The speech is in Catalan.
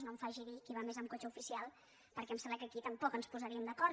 no em faci dir qui va més amb cotxe oficial perquè em sembla que aquí tampoc ens posaríem d’acord